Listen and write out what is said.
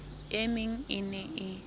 e meng e ne e